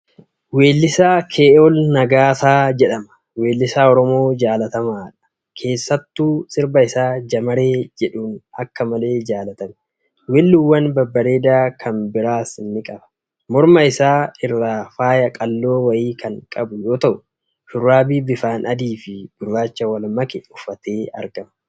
Weellisaa Kee'ol Nagaasaa jedhama. Weellisaa Oromoo jaallatamaadha. Keessattu sirba isaa Jamaree jedhuun akka malee jaallatame. Weelluwwan babbareedaa kan biraas ni qaba. Morma isaa irra faaya qal'oo wayii kan qabu yoo ta'u, shurraabii bifaan adii fi gurrachaan wal make uffatee argama.